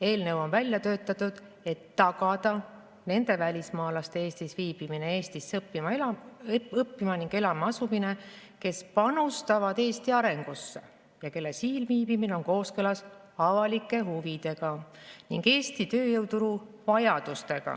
Eelnõu on välja töötatud, et tagada nende välismaalaste Eestis viibimine, Eestisse õppima ning elama asumine, kes panustavad Eesti arengusse ja kelle siin viibimine on kooskõlas avalike huvidega ning Eesti tööjõuturu vajadustega.